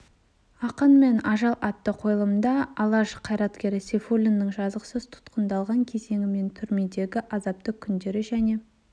ақын мен ажал атты қойылымда алаш қайраткері сейфуллиннің жазықсыз тұтқындалған кезеңі мен түрмедегі азапты күндері және